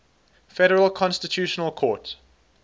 federal constitutional court